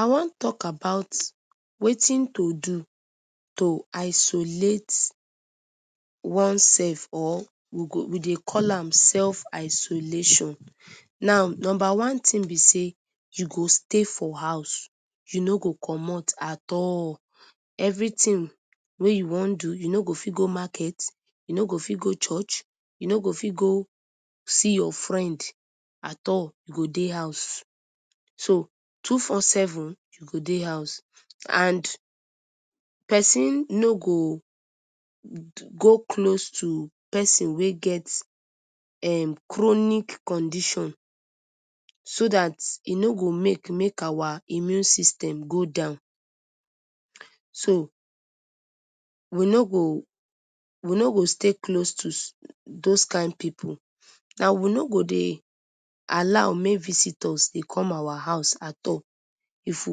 I wan talk about watin to do to isolate oneself or we go we dey call am self-isolation. Number one tin be say you go stay for house, you no go commot at all, everytin wey you wan do you no go fit go market, you no go fit go church, you no go fit go see ya friend at all, you go dey house, so two-four-seven you go dey house and pesin no go go close to pesin wey get um chronic condition so dat e no go make make our immune system go down. So we no go we no go stay close to dose kain pipu and we no go dey allow make visitors dey come our house at all. If we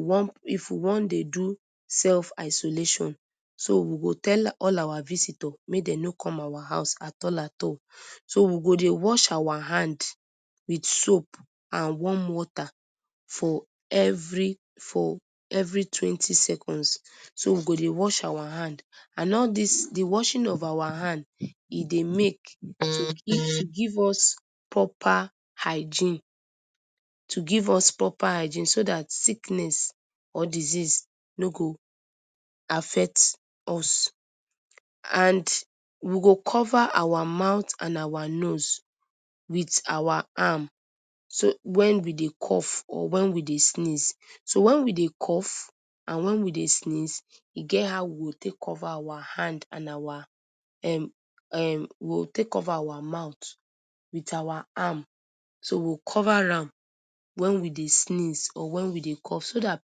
wan, if we wan dey do self-isolation, so we go tell all our visitors make dem no come our house at all at all. So we go dey wash our hand with soap and warm water for every for every twenty seconds, so we go dey wash our hand and all dis di washing of our hand e dey make give us proper hygiene to give us proper hygiene so dat sickness or diseases no go affect us and we go cover our mouth and our nose wit our arm so when we dey cough or wen we dey sneeze, so when we dey cough and when we dey sneeze e get how we go take cover our hand and our um we go take cover our mouth wit our arm so we go cover am wen we dey sneeze or wen we dey cough so dat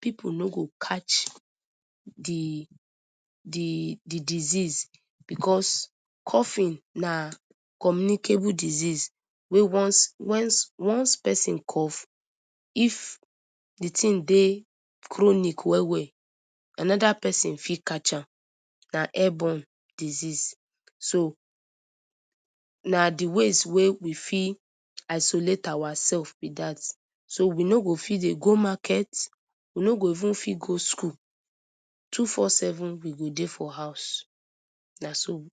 pipu no go catch di di di disease because coughing na communicable disease wey once wens once pesin cough if di tin dey chronic well well anoda persin fit catch am, na airborne disease, so na di ways wey we fit isolate ourself be dat, so we no go fit dey go market, we no go even fit go school, two-four-seven we go dey for house, na so.